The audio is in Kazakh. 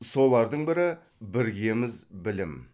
солардың бірі біргеміз білім